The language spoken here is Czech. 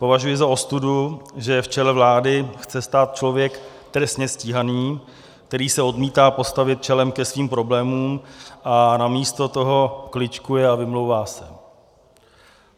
Považuji za ostudu, že v čele vlády chce stát člověk trestně stíhaný, který se odmítá postavit čelem ke svým problémům a namísto toho kličkuje a vymlouvá se.